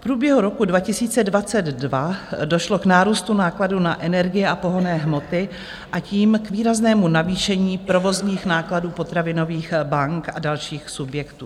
V průběhu roku 2022 došlo k nárůstu nákladů na energie a pohonné hmoty, a tím k výraznému navýšení provozních nákladů potravinových bank a dalších subjektů.